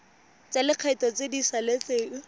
tsa lekgetho tse di saletseng